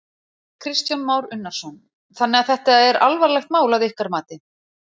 Kristján Már Unnarsson: Þannig að þetta er alvarlegt mál að ykkar mati?